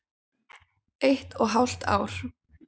Eitt og hálft ár.